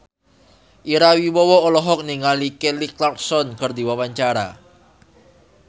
Ira Wibowo olohok ningali Kelly Clarkson keur diwawancara